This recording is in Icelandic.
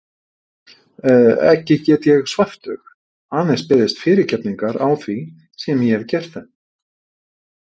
Ekki get ég svæft þau, aðeins beðist fyrirgefningar á því sem ég hef gert þeim.